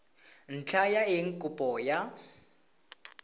ntlha ya eng kopo ya